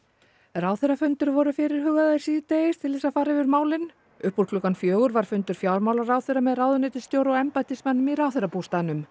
ráðherrafundir voru fyrirhugaðir síðdegis til þess að fara yfir málin upp úr klukkan fjögur var fundur fjármálaráðherra með ráðuneytisstjóra og embættismönnum í ráðherrabústaðnum